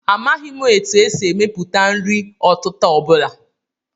Amaghị m etu e si emepụta nri ọtịta ọ bụla